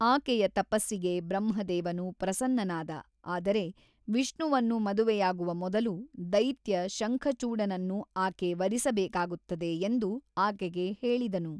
ಆಕೆಯ ತಪಸ್ಸಿಗೆ ಬ್ರಹ್ಮದೇವನು ಪ್ರಸನ್ನನಾದ ಆದರೆ ವಿಷ್ಣುವನ್ನು ಮದುವೆಯಾಗುವ ಮೊದಲು ದೈತ್ಯ ಶಂಖಚೂಡನನ್ನು ಆಕೆ ವರಿಸಬೇಕಾಗುತ್ತದೆ ಎಂದು ಆಕೆಗೆ ಹೇಳಿದನು.